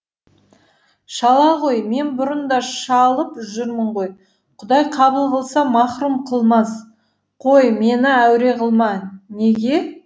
шала ғой мен бұрын да шалып жүрмін ғой құдай қабыл қылса махрүм қылмас қой мені әуре қылма неге